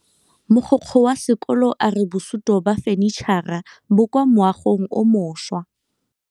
Mogokgo wa sekolo a re bosutô ba fanitšhara bo kwa moagong o mošwa.